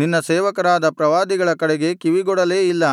ನಿನ್ನ ಸೇವಕರಾದ ಪ್ರವಾದಿಗಳ ಕಡೆಗೆ ಕಿವಿಗೊಡಲೇ ಇಲ್ಲ